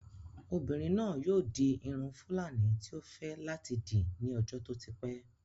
Obinrin naa yoo di irun fúlàní tí ó fẹ́ láti dì ní ọjọ́ tó ti pẹ́